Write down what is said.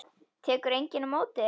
Tekur enginn á móti þér?